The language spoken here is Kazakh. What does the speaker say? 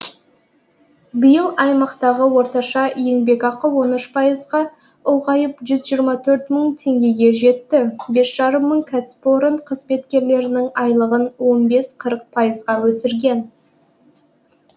биыл аймақтағы орташа еңбекақы он үш пайызға ұлғайып жүз жиырма төрт мың теңгеге жетті бес жарым мың кәсіпорын қызметкерлерінің айлығын он бес қырық пайызға өсірген